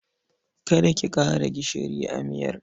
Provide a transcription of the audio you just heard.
Kada ki ƙara gishiri a miyar.